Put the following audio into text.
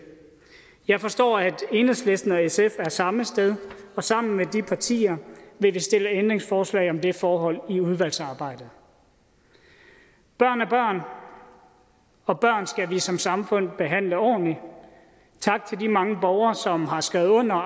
jeg forstår at enhedslisten og sf er samme sted og sammen med de partier vil vi stille ændringsforslag om det forhold i udvalgsarbejdet børn er børn og børn skal vi som samfund behandle ordentligt tak til de mange borgere som har skrevet under